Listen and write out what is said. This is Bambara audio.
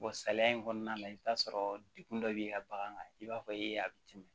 salaya in kɔnɔna na i bi t'a sɔrɔ degun dɔ b'i ka bagan kan i b'a fɔ e a bɛ tɛmɛ